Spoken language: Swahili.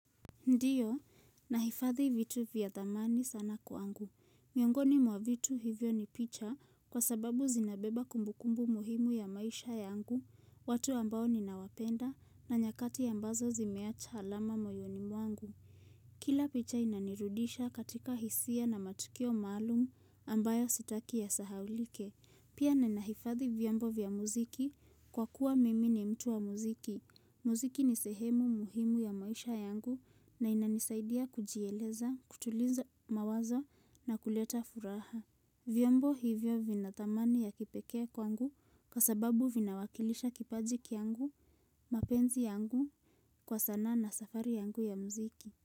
Ndiyo, nahifadhi vitu vya dhamani sana kwangu. Miongoni mwa vitu hivyo ni picha kwa sababu zinabeba kumbukumbu muhimu ya maisha yangu, watu ambao ninawapenda na nyakati ambazo zimeacha alama moyoni mwangu. Kila picha inanirudisha katika hisia na matukio malumu ambayo sitaki yasahaulike. Pia nanahifadhi vyombo vya muziki kwa kuwa mimi ni mtu wa muziki. Muziki ni sehemu muhimu ya maisha yangu na inanisaidia kujieleza, kutuliza mawazo na kuleta furaha. Vyombo hivyo vina dhamani ya kipekee kwangu kwa sababu vinawakilisha kipajiki yangu, mapenzi yangu, kwa sanaa na safari yangu ya mziki.